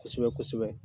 Kosɛbɛ kosɛbɛ